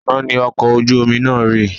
Àná ni ọkọ̀ ojú omi náà rì